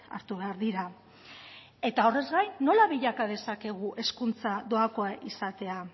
hartu behar dira eta horrez gain nola bilaka dezakegu hezkuntza doakoa izatea